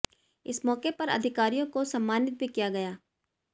इस मौके पर अधिकारियों को सम्मानित भी किया गया